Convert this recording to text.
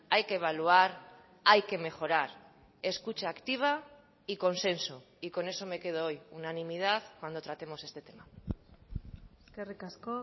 hay que evaluar hay que mejorar escucha activa y consenso y con eso me quedo hoy unanimidad cuando tratemos este tema eskerrik asko